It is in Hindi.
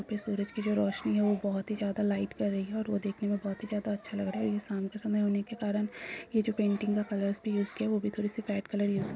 यहाँ पे जो सूरज की रोशनी है वो बहुत ही ज्यादा लाइट कर रही है और वो देखने में बहुत ही ज्यादा अच्छा लग रहा है यह शाम के समय होने के कारण यह जो पेटिग का कलर्स भी यूस किया है वो भी थोड़ी सी ब्राइट कलर यूस --